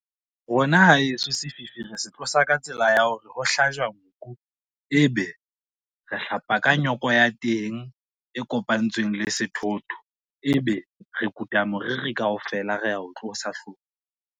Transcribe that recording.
Rona haeso sefifi re se tlosa ka tsela ya hore ho hlajwa nku, e be re hlapa ka nyoko ya teng e kopantsweng le sethotho, e be re kuta moriri kaofela re a o tlosa hloohong.